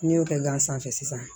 N'i y'o kɛ gansan sisan